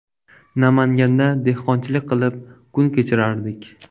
Namanganda dehqonchilik qilib kun kechirardik.